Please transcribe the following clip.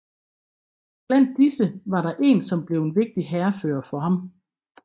Blandt disse var der en som blev en vigtig hærfører for ham